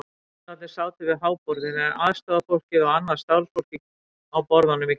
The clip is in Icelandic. Jólasveinarnir sátu við háborðið en aðstorðafólkið og annað starfsfólk á borðunum í kring.